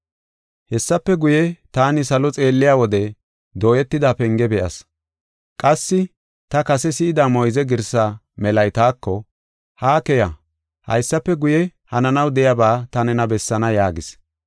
Hessafe guye, taani salo xeelliya wode dooyetida penge be7as. Qassi ta kase si7ida moyze girsaa melay taako, “Ha keya; haysafe guye, hananaw de7iyaba ta nena bessaana” yaagis.